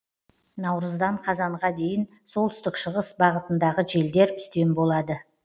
наурыздан қазанға дейін солтүстік шығыс бағытындағы желдер үстем болады